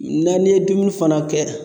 N'an ye dumuni fana kɛ